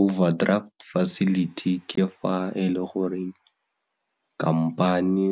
Overdraft Facility ke fa e le gore khamphani,